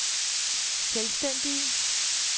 selvstændige